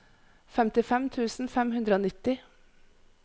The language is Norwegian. femtifem tusen fem hundre og nitti